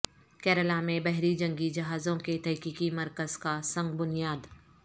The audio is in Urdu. کیرالہ میں بحری جنگی جہازوں کے تحقیقی مرکز کا سنگ بنیاد